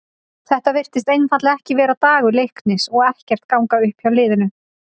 Þetta virtist einfaldlega ekki vera dagur Leiknis og ekkert að ganga upp hjá liðinu.